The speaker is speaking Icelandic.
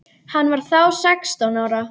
Hann var þá sextán ára.